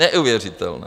Neuvěřitelné!